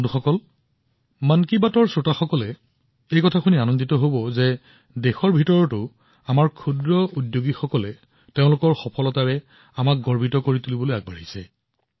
বন্ধুসকল মন কী বাতৰ শ্ৰোতাসকলে জানি সুখী হব যে ঘৰুৱা পৰ্যায়ত আমাৰ ক্ষুদ্ৰ উদ্যোগীসকলৰ সফলতাই আমাক গৌৰৱেৰে ভৰাই তোলে